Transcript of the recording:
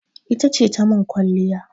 Ita ce ta min kwalliya.